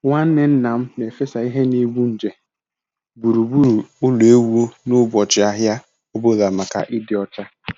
Nwanne nna m na-efesa ihe na-egbu nje gburugburu ụlọ ewu n'ụbọchị ahịa ọ bụla maka ịdị ọcha.